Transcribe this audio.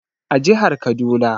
A jihar Kaduna